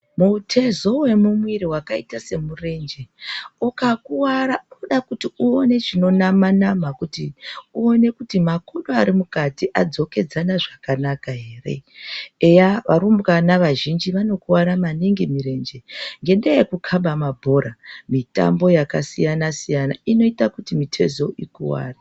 Mutezo wemumwiri wakaita semurenje ukakuwara unode kuti uone chinonama nama kuone kuti makodo ari mukati adzokedzana zvakanaka ere. Eya arumbwana azhinji anokuwara maningi mirenje ngendaa yekukhaba maningi mabhora. Mitambo yakasiyana siyana inoita kuti mitezo ikuware.